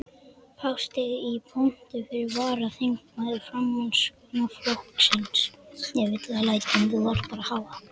Þar steig í pontu fyrsti varaþingmaður Framsóknarflokksins.